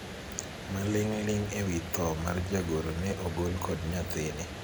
maling'ling ewi tho mar jagoro no ne ogol kod nyathini